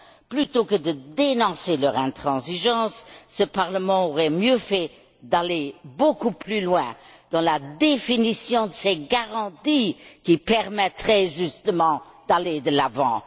Plutôt que de dénoncer leur intransigeance, ce Parlement aurait mieux fait d'aller beaucoup plus loin dans la définition de ces garanties qui permettraient, justement, d'aller de l'avant.